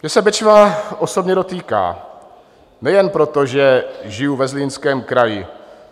Mě se Bečva osobně dotýká, nejen proto, že žiju ve Zlínském kraji.